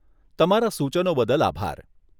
તમારા સૂચનો બદલ આભાર.